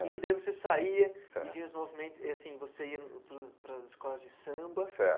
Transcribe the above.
E que daí você saía certo e vinha os movimentos... E assim, você ia para os para as escolas de samba, certo